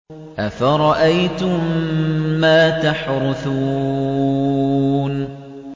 أَفَرَأَيْتُم مَّا تَحْرُثُونَ